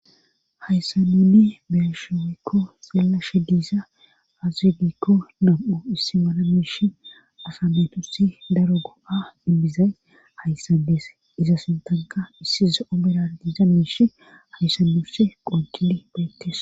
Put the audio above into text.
hayssanunne beeshe oykko xeellashe diiza azedikko nam7u issi mana miish asa meetusi daro go7a inbizay hayssades iza sintanka issize omera diiza miish hayssaduse qonkili beettes